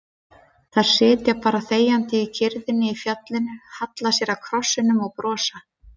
Þær sitja bara þegjandi í kyrrðinni á fjallinu, halla sér að krossinum og brosa.